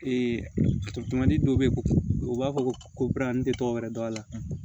damandin dɔ bɛ yen u b'a fɔ ko pɛrɛn te tɔ yɛrɛ dɔn a la